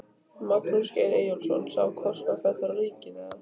Magnús Geir Eyjólfsson: Sá kostnaður fellur á ríkið eða?